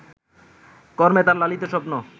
কর্মে তাঁর লালিত স্বপ্ন